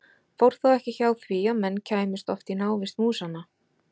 Fór þá ekki hjá því að menn kæmust oft í návist músanna.